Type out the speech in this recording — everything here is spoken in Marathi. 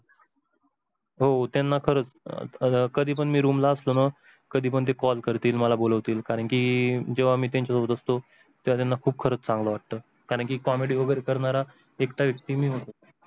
ते हो त्यांना खरच कधी पण मी room ळा असलो ना कधी पण ते call करतील मला पण बोलवतील कारण कि जेव्हा मी त्यांच्या सोबत असतो त्यांना खरंच खूप चांगलं वाटत करणं कीं comedy वैगरे करणारा एकटा व्यक्ती मी होतो